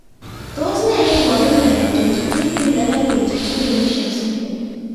Tos nee neiparu miondop 22q11.2 deletion syndrome